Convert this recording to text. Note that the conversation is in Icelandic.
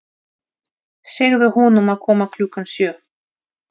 Segðu honum að koma klukkan sjö.